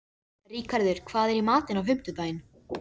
Ríkharður, hvað er í matinn á fimmtudaginn?